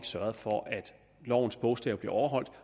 sørget for at lovens bogstav blev overholdt